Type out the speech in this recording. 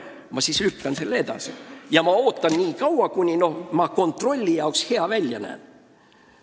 Ta siis lükkab seda edasi ja ootab nii kaua, kuni ta kontrolli jaoks hea välja näeb.